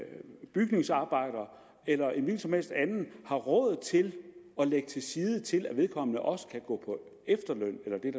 bygningsarbejder eller en hvilken som helst anden har råd til at lægge til side til at vedkommende også kan gå på efterløn